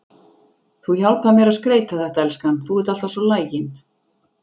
Þú hjálpar mér að skreyta þetta, elskan, þú ert alltaf svo lagin.